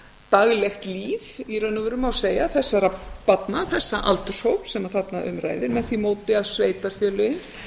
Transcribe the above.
daglegt líf í raun og veru má segja þessara barna þessa aldurshóps sem þarna um ræðir með því móti að sveitarfélögin